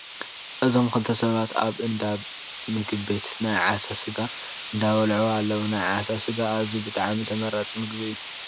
እዞም ክልተ ሰባት ኣብ እንዳ ምግብ ቤት ናይ ዓሳ ስጋ ኣንዳበልዑ ኣለዉ። ናይ ዓሳ ስጋ ኣዝዩ ብጣዕሚ ተመራፂ ምግቢ እዩ።